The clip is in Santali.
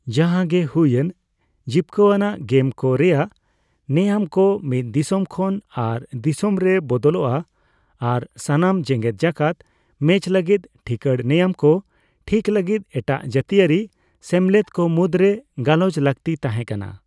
ᱡᱟᱸᱦᱟ ᱜᱮ ᱦᱩᱭᱮᱱ, ᱡᱤᱵᱠᱟᱹ ᱟᱱᱟᱜ ᱜᱮᱢ ᱠᱚ ᱨᱮᱭᱟᱜ ᱱᱮᱭᱟᱢ ᱠᱚ ᱢᱤᱫ ᱫᱤᱥᱚᱢ ᱠᱷᱚᱱ ᱟᱨ ᱫᱤᱥᱚᱢ ᱨᱮ ᱵᱚᱫᱚᱞᱚᱜᱼᱟ ᱟᱨ ᱥᱟᱱᱟᱢ ᱡᱮᱜᱮᱫ ᱡᱟᱠᱟᱫ ᱢᱮᱪ ᱞᱟᱹᱜᱤᱫ ᱴᱷᱤᱠᱟᱹᱲ ᱱᱮᱭᱟᱢ ᱠᱚ ᱴᱷᱤᱠ ᱞᱟᱹᱜᱤᱫ ᱮᱴᱟᱜ ᱡᱟᱹᱛᱤᱭᱟᱹᱨᱤ ᱥᱮᱢᱞᱮᱫ ᱠᱚ ᱢᱩᱫᱨᱮ ᱜᱟᱞᱚᱪ ᱞᱟᱹᱠᱛᱤ ᱛᱟᱸᱦᱮ ᱠᱟᱱᱟ ᱾